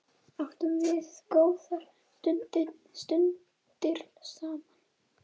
Áttum við góðar stundir saman.